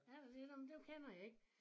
Er der det nåh men dem kender jeg ikke